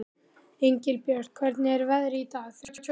Engilbjört, hvernig er veðrið í dag?